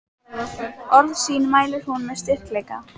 Orð sín mælir hún með styrkleika.